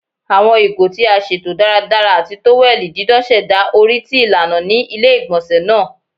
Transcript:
Awọn igo ti a ṣeto daradara ati toweli didan ṣẹda ori ti ilana ni ile-igbọnsẹ naa